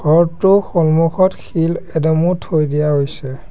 ঘৰটোৰ সন্মুখত শিল এদমো থৈ দিয়া হৈছে।